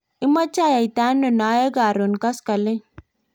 imeche ayaitano noe karon koskoleny?